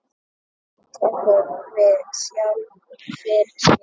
Hún tekur við sjálfri sér.